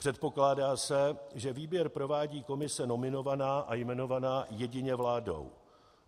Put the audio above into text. Předpokládá se, že výběr provádí komise nominovaná a jmenovaná jedině vládou.